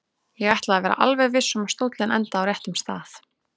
Ég ætlaði að vera alveg viss um að stóllinn endaði á réttum stað.